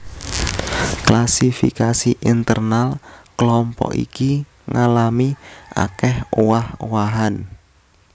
Klasifikasi internal klompok iki ngalami akèh owah owahan